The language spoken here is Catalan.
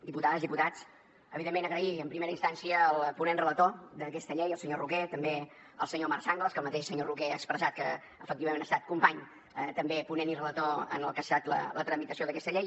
diputades diputats evidentment donar les gràcies en primera instància al ponent relator d’aquesta llei el senyor roquer també al senyor marc sanglas que el mateix senyor roquer ha expressat que efectivament ha estat company també ponent i relator en el que ha estat la tramitació d’aquesta llei